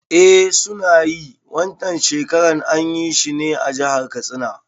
Eh suna yi, Wan can shekarar anyi shi ne a jahar Katsina